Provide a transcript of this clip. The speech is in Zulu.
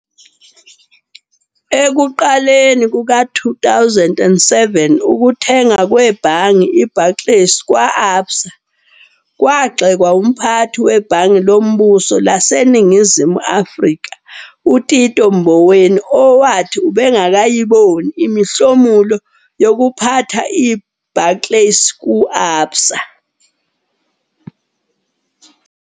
Ekuqaleni kuka-2007, ukuthengwa kwebhange iBarclays kwa-Absa kwagxekwa umphathi weBhange Lombuso laseNingizimu Afrika, uTito Mboweni, owathi "ubengakayiboni imihlomulo yokuphatha iBarclays ku-Absa".